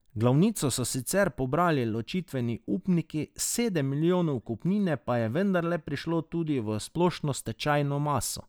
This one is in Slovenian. Glavnino so sicer pobrali ločitveni upniki, sedem milijonov kupnine pa je vendarle prišlo tudi v splošno stečajno maso.